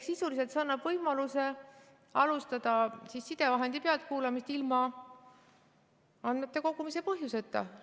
Sisuliselt see annab võimaluse alustada sidevahendi pealtkuulamist ilma andmete kogumise põhjuseta.